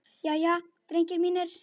Jæja, drengir mínir!